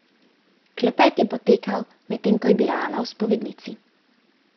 Klepet je potekal, medtem ko je bila Ana v spovednici.